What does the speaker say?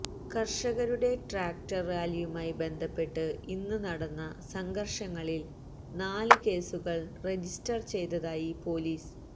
കർഷകരുടെ ട്രാക്ടർ റാലിയുമായി ബന്ധപ്പെട്ട് ഇന്ന് നടന്ന സംഘർഷങ്ങളിൽ നാല് കേസുകൾ രജിസ്റ്റർ ചെയ്തതായി പൊലീസ്